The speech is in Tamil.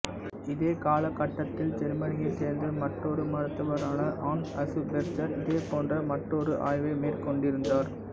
இதே காலகட்டத்தில் ஜெர்மனியைச் சேர்ந்த மற்றொரு மருத்துவரான ஹான்ஸ் அசுபெர்ஜர் இதேபோன்ற மற்றொரு ஆய்வை மேற்கொண்டிருந்தார்